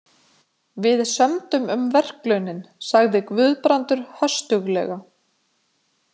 Við sömdum um verklaunin, sagði Guðbrandur höstuglega.